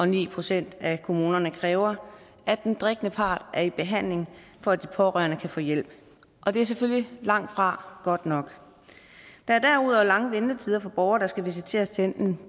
ni procent af kommunerne kræver at den drikkende part er i behandling for at de pårørende kan få hjælp det er selvfølgelig langtfra godt nok der er derudover lange ventetider for borgere der skal visiteres til enten